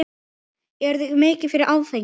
Eruð þið mikið fyrir áfengi?